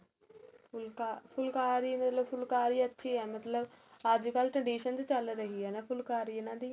ਫੁਲਕਾਰੀ ਬਹੁਤ ਅੱਛੀ ਏ ਮਤਲਬ ਅੱਜ ਕੱਲ tread sing ਵਿੱਚ ਚੱਲ ਰਹੀ ਏ ਫੁਲਕਾਰੀ ਇਹਨਾ ਦੀ